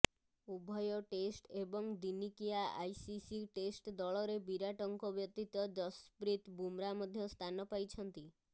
ଉଭୟ ଟେଷ୍ଟ ଏବଂ ଦିନିକିଆ ଆଇସିସି ଟେଷ୍ଟ ଦଳରେ ବିରାଟଙ୍କ ବ୍ୟତୀତ ଯଶ୍ପ୍ରୀତ୍ ବୁମ୍ରା ମଧ୍ୟ ସ୍ଥାନ ପାଇଛନ୍ତି